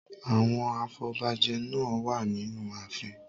Àwọn afobajẹ náà wà nínú ààfin.